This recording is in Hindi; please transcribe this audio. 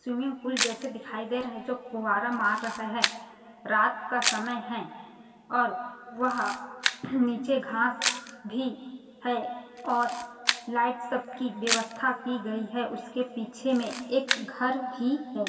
स्विमिंग पुल जैसा दिखाई दे रहा है जो फुवारा मार रहा है रात का समय है और वह नीचे घास भी है और लाइट सब की व्यवस्था की गयी है उसके पीछे में एक घर भी है।